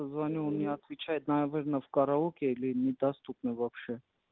звоню он не отвечает наверно в караоке или недоступны вообще